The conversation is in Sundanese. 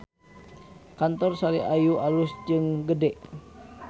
Kantor Sari Ayu alus jeung gede